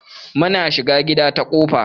Muna shiga gida ta kofa.